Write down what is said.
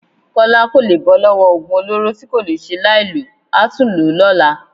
Kọ́lá kò lè bọ́ lọ́wọ́ oògùn olóró tí kò le ṣe láìlò, a tún lò ó lọ́la